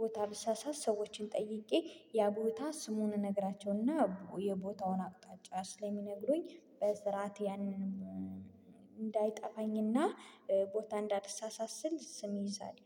ቦታ ብሳሳት ሰዎችን ጠይቄ ያ ቦታ ስሙን እነግራቸውና የቦታውን አቅጣጫ ስለሚነግሩኝ በስርዓት ያንን እንዳይጠፋኝና ቦታ እንዳይሳሳስል ስም ይይዛል